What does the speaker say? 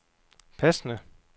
passende